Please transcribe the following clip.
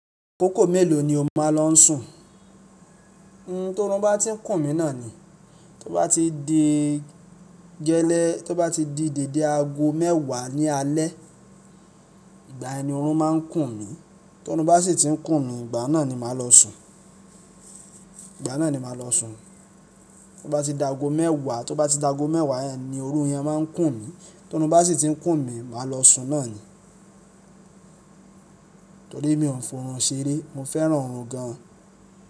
Akòkò mélòó ni o máa lọ n sùn? Tóorun bá ti ń kùn mí náà ni, tó bá ti di gẹ́lẹ́, tó bá ti di deédé aago mẹ́wàá ní alẹ́, ìgbà yẹn ni oọ̀run máa ń kùn mí, tó oorun bá sì ti ń kùn mí, ìgbà náà ni màá lọ sùn. Ìgbà náà ni màá lọ sùn. Tó bá ti daago mẹ́wàá, tó bá ti daago mẹ́wàá ni òorun yẹn máa ń kùn mí, tó oorn bá sì ti ń kùn mí, màá lọ sùn náà ni. Torí mi ò ń fọorun ṣeré, mo fẹ́ràn oorun gan.